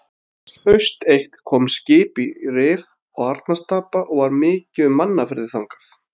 Haust eitt kom skip í Rif og Arnarstapa og var mikið um mannaferðir þangað.